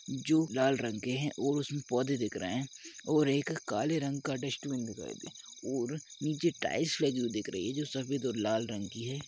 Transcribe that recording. जो लाल रंग के है और उसमें पौधे दिख रहे हैंऔर एक काले रंग का डस्टबीन दिखायी दे रहा हैऔर नीचे टाइल्स लगी हुई दिख रही है जो सफेद और लाल रंग की है।